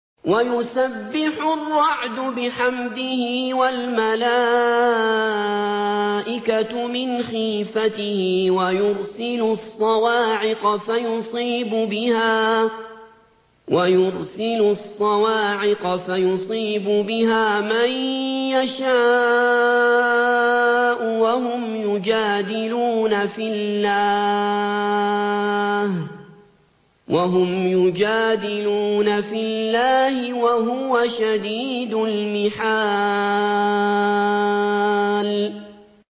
وَيُسَبِّحُ الرَّعْدُ بِحَمْدِهِ وَالْمَلَائِكَةُ مِنْ خِيفَتِهِ وَيُرْسِلُ الصَّوَاعِقَ فَيُصِيبُ بِهَا مَن يَشَاءُ وَهُمْ يُجَادِلُونَ فِي اللَّهِ وَهُوَ شَدِيدُ الْمِحَالِ